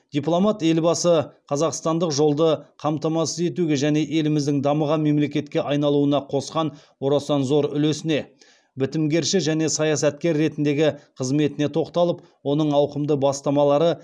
дипломат елбасы қазақстандық жолды қамтамасыз етуге және еліміздің дамыған мемлекетке айналуына қосқан орасан зор үлесіне бітімгерші және саясаткер ретіндегі қызметіне тоқталып оның ауқымды бастамалары